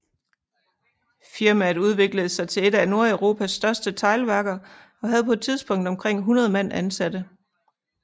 Firmaet udviklede sig til et af Nordeuropas største teglværker og havde på et tidspunkt omkring 100 mand ansatte